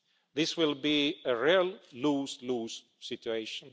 This will be a real lose-lose situation.